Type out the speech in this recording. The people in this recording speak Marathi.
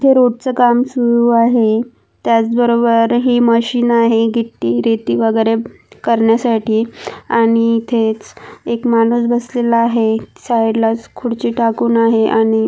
हे रोड च काम सुरू आहे त्याच बरोबर ही मशीन आहे गिट्टी रेती वगैरे करण्यासाठी आणि इथेच एक माणूस बसलेला आहे साइडलाच खुर्ची टाकून आहे आणि --